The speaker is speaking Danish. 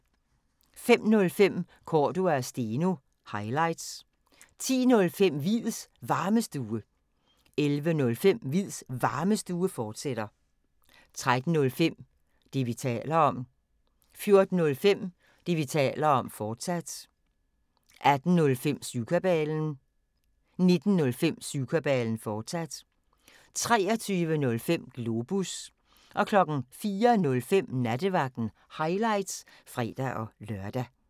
05:05: Cordua & Steno – highlights 10:05: Hviids Varmestue 11:05: Hviids Varmestue, fortsat 13:05: Det, vi taler om 14:05: Det, vi taler om, fortsat 18:05: Syvkabalen 19:05: Syvkabalen, fortsat 23:05: Globus 04:05: Nattevagten – highlights (fre-lør)